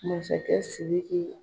Masakɛ Siriki